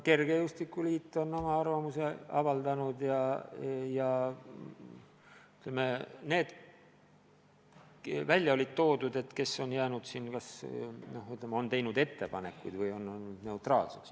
Kergejõustikuliit on oma arvamuse avaldanud ja on teinud ettepanekuid või jäänud neutraalseks.